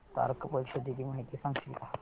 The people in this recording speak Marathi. सार्क परिषदेची माहिती सांगशील का